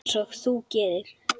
Einsog þú gerir?